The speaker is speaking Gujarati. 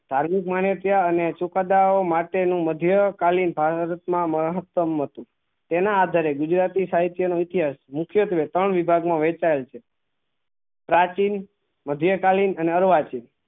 ધાર્મિક માને ત્યાં અને સુખ્દ્દાઓ માટે નું મધ્ય કાલીન ભારત માં મહત્વ નું હતું તેના આધારે ગુજરાતી સાહિત્ય ની ઈતિહાસ મુખ્તેવે ત્રણ વિભાગ માં વેચાયેલ છે પ્રાચીન મ્ધ્યેકાલીન